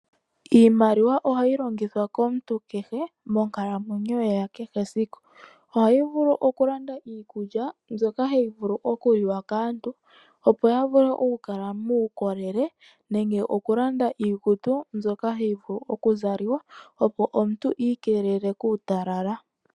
Iimaliwa ohai longithwa komuntu kehe monkalamweyo ye ya kehe esiku. Ohayi vulu ikulanda iikulya mbyoka hayi vulu okuliwa kaantu, opo ya vule okukala muukolele nenge okulanda iikutu mbyoka hayi vulu kuzaliwa, opo omuntu a ikelele kuutalala.